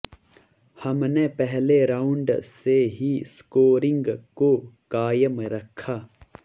हमने पहले राउंड से ही स्कोरिंग को कायम रखा